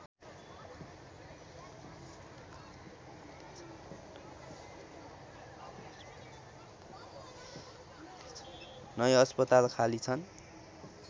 नै अस्पताल खाली छन्